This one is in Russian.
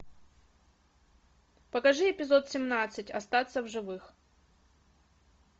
покажи эпизод семнадцать остаться в живых